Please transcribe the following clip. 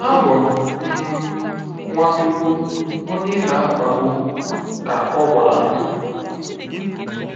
“Abụ m um Nwachukwu, onye ị na-akpagbu,” ka o gwara ya.